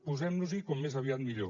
posem nos hi com més aviat millor